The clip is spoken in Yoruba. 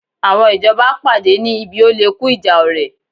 Àwọn ìjọba pàdé ní ibi oléku ìjà ọ̀rẹ̀